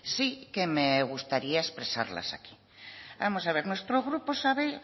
sí que me gustaría expresarlas aquí vamos a ver nuestro grupo sabe